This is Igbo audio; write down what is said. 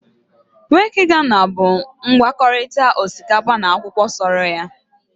Waakye ghana bụ ngwakọta osikapa na akwụkwọ soro